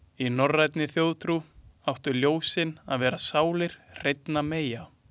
Í norrænni þjóðtrú áttu ljósin að vera sálir hreinna meyja.